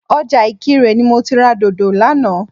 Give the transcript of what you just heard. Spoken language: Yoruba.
Ọjà ìkirè ni mo ti ra dòdò lánàá